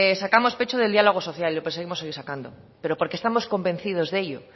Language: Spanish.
sacamos pecho del diálogo social y lo pensamos seguir sacando pero porque estamos convencidos de ello